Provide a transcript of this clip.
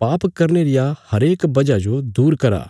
पाप करने रिया हरेक वजह जो दूर करा